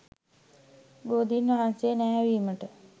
බෝධීන් වහන්සේ නැහැවීමට